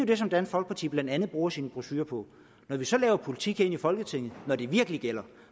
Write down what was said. det som dansk folkeparti blandt andet bruger sine brochurer på når vi så laver politik her i folketinget når det virkelig gælder